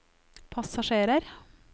passasjerer